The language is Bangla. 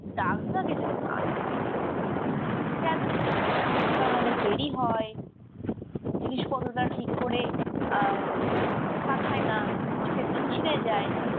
ডাক বিভাগে যেন না যায়। কেন? কারণ অনেক দেরি হয়, জিনিসপত্র টা ঠিক করে আহ পাঠায় না, কিছু ক্ষেত্রে ছিড়ে যায়